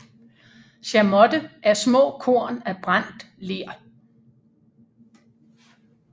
Chamotte er små korn af brændt ler